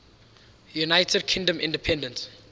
united kingdom independence